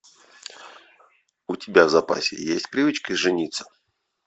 у тебя в запасе есть привычка жениться